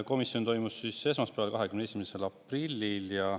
Komisjon toimus esmaspäeval, 21. aprillil.